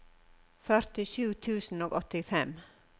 førtisju tusen og åttifem